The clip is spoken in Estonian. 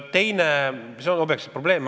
See on objektiivne probleem.